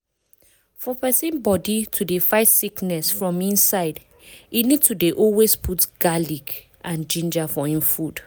for persin body to dey fight sickness from inside e need to dey always put garlic and ginger for hin food.